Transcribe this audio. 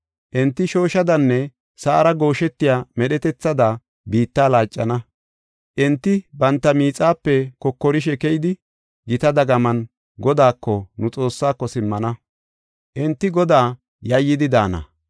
Enti shooshadanne sa7ara gooshetiya medhetethatada biitta laaccana. Enti banta miixape kokorishe keyidi gita dagaman Godaako, nu Xoossaako, simmana; enti Godaa yayyidi daana.